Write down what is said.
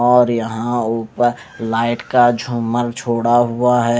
और यहां ऊपर लाइट का झोमल छोड़ा हुआ है।